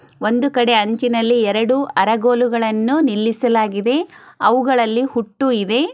ಒಂದು ಕಡೆ ಅಂಚಿನಲ್ಲಿ ಎರೆಡು ಅರಗುಲುಗಳನು ನಿಲ್ಲಿಸಲಾಗಿದೆ ಅವುಗಳಲ್ಲಿ ಹುಟ್ಟು ಇವೆ